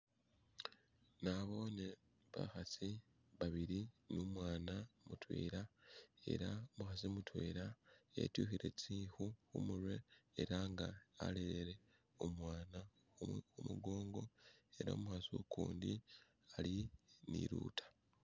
Naboone bakhasi babili ni umwana mutwela ela umukhasi mutwela etyukhile tsikhu khumurwe ela nga alele umwana khu mukongo ela umukhasi ukundi ali ni luta.